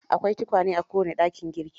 Akwai tukwane a kowane dakin girki.